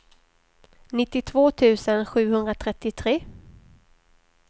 nittiotvå tusen sjuhundratrettiotre